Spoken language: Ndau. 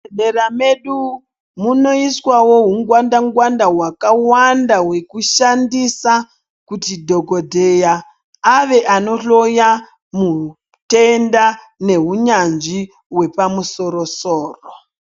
Muzvibhedhlera medu munoiswawo hungwanda-ngwanda hwakawanda hwekushandisa, kuti dhogodheya ave anohloya mutenda nehunyanzvi hwepamusoro-soro.